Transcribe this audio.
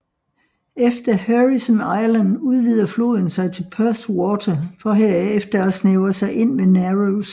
Efter Heirisson Island udvider floden sig til Perth Water for herefter at snævre sig ind ved Narrows